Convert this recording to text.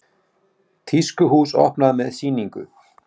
Tískuhús opnað með sýningu